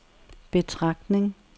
betragtning